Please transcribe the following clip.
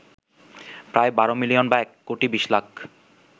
প্রায় ১২ মিলিয়ন বা এক কোটি বিশ লাখ